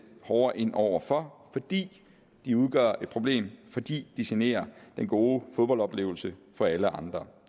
hårdere ind over for fordi de udgør et problem fordi de generer den gode fodboldoplevelse for alle andre